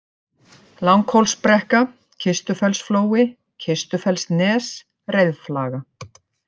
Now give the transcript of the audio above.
Langhólsbrekka, Kistufellsflói, Kistufellsnes, Reiðflaga